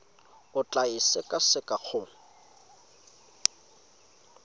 o tla e sekaseka go